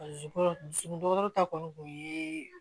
ta kɔni kun ye